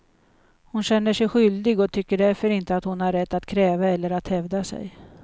Hon känner sig skyldig och tycker därför inte att hon har rätt att kräva eller att hävda sig.